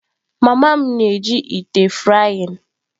Mama m na-eji ite frying.